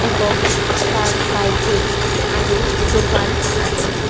এবং তার সাইটেই সাইট -এই আরও দোকান আছে।